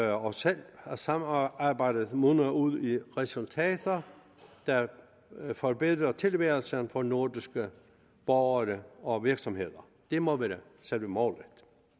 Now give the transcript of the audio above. af os selv at samarbejdet munder ud i resultater der forbedrer tilværelsen for nordiske borgere og virksomheder det må være selve målet